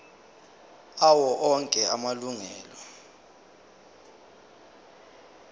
awo onke amalunga